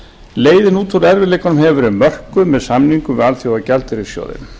leiðin út úr erfiðleikunum hefur verið mörkuð sem samningum við alþjóðagjaldeyrissjóðinn